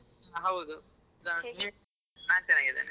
ಹ ಹೌದು ಹೇಳಿ ನಾ ಚೆನ್ನಾಗಿದ್ದೇನೆ.